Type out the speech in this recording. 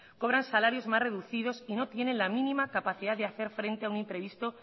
cobran salarios más reducidos y no tienen la mínima capacidad de hacer frente a un imprevisto